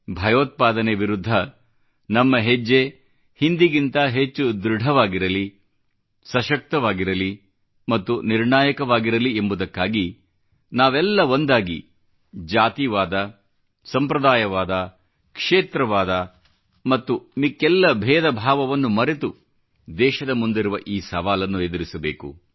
ಭಯೋತ್ಪಾದನೆ ವಿರುದ್ಧ ನಮ್ಮ ಹೆಜ್ಜೆ ಹಿಂದಿಗಿಂತ ಹೆಚ್ಚು ಧೃಡವಾಗಿರಲಿ ಸಶಕ್ತವಾಗಿರಲಿ ಮತ್ತು ನಿರ್ಣಾಯಕವಾಗಿರಲಿ ಎಂಬುದಕ್ಕಾಗಿ ನಾವೆಲ್ಲ ಒಂದಾಗಿ ಜಾತೀವಾದ ಸಂಪ್ರದಾಯವಾದ ಕ್ಷೇತ್ರವಾದ ಮತ್ತು ಮಿಕ್ಕ ಎಲ್ಲ ಭೇದ ಭಾವವನ್ನು ಮರೆತು ದೇಶದ ಮುಂದಿರುವ ಈ ಸವಾಲನ್ನು ಎದುರಿಸಬೇಕು